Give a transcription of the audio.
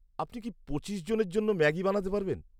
আপনি কি পঁচিশ জনের জন্য ম্যাগি বানাতে পারবেন?